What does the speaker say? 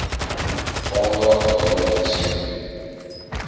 aandag daaraan skenk